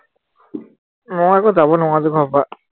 মই আকৌ যাব নোৱাৰো যে ঘৰৰ পৰা